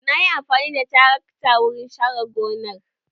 Na yi amfani da tarakta wurin share gonar